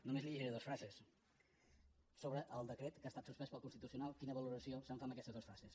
només li llegiré dues frases sobre el decret que ha estat suspès pel constitucional quina valoració se’n fa en aquestes dues frases